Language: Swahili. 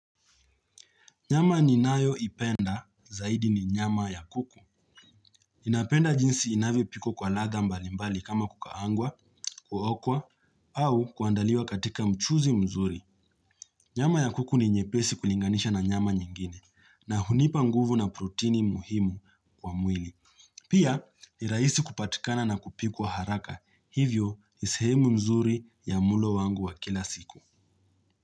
Nyama ninayo ipenda zaidi ni nyama ya kuku. Napenda jinsi inavyopikwa kwa latha mbalimbali kama kukaangwa, kuokwa, au kuandaliwa katika mchuzi mzuri. Nyama ya kuku ni nyepesi kulinganisha na nyama nyingine na hunipa nguvu na protini muhimu kwa mwili. Pia, ni raisi kupatikana na kupikwa haraka. Hivyo ni sehemu mzuri ya mulo wangu wa kila siku.